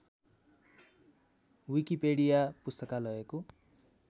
Wikipedia पुस्तकालयको